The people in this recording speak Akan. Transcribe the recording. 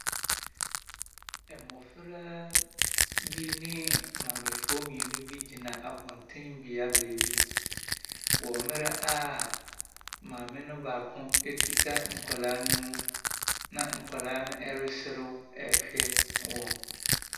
Mmofra bi ne maamefoɔ mmienu bi gyina abɔnten bea baabi, wɔ mmerɛ a maame no baako kita nkwadaa no mu, na nkwadaa no resew rehwɛ wɔn.